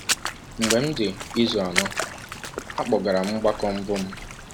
Mgbe m dị izu anọ, a kpọgara m mgbakọ mbụ m.